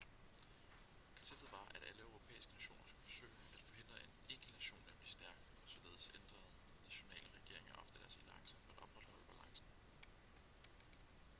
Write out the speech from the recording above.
konceptet var at alle europæiske nationer skulle forsøge at forhindre en enkelt nation i at blive stærk og således ændrede nationale regeringer ofte deres alliancer for at opretholde balancen